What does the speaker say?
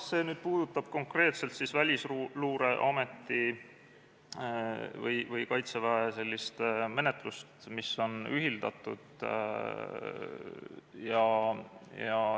See puudutab konkreetselt Välisluureameti või Kaitseväe menetlust, mis on ühitatud.